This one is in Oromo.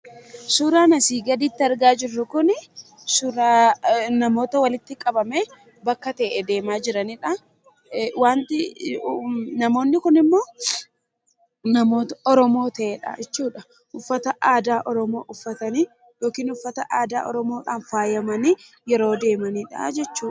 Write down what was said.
Suuraan asii gaditti argaa jirru Kun, suuraa namoota walitti qabamee bakka ta'e deemaa jiranidha. Waanti namoonni Kun immoo namoota Oromoo ta'e jechuudha. Uffata aadaa oromoo uffatanii yookiin uffata aadaa oromoodhaan faayamanii yeroo deemanidha jechuudha.